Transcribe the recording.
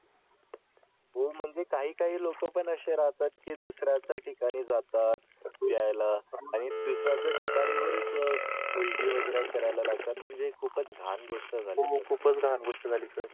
हो म्हणजे काही काही लोकं पण असे राहतात की दुसर्च्या ठिकाणी जातात पियला आणि दुसर् याच ठिकाणी बरेच उलटी वगैरे करायला लागतात म्हणजे खूपच घाण गोष्ट झाली सर